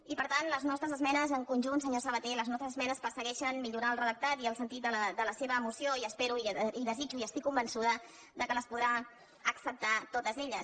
i per tant les nostres esmenes en conjunt senyor saba·té les nostres esmenes persegueixen millorar el redac·tat i el sentit de la seva moció i espero i desitjo i estic convençuda que les podrà acceptar totes elles